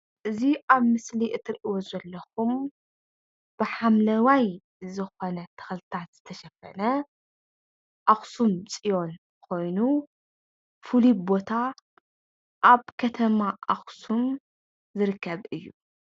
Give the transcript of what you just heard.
እዚ ኣብ ምስሊ እትሪእዎ ዘለኹም ብሓምለዋይ ዝኾነ ተኽልታት ዝተሸፈነ ኣክሱም ፅዮን ኮይኑ ፍሉይ ቦታ ኣብ ከተማ ኣክሱም ዝርከብ እዩ፡፡